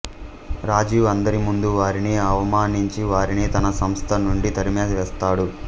రాజీవ్ అందరి ముందు వారిని అవమానించి వారిని తన సంస్థ నుండి తరిమివేస్తాడు